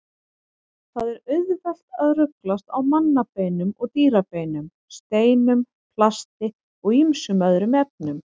Það er auðvelt að ruglast á mannabeinum og dýrabeinum, steinum, plasti og ýmsum öðrum efnum.